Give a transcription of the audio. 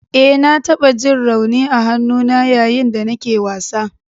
E, na taɓa ji rauni a hannuna yayin da nake wasa.